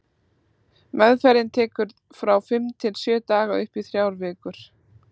Meðferðin tekur frá fimm til sjö dögum og upp í þrjár vikur.